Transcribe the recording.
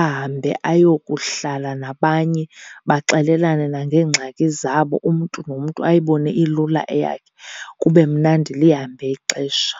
ahambe ayokuhlala nabanye. Baxelelane nangengxaki zabo, umntu nomntu ayibone ilula eyakhe, kube mnandi lihambe ixesha.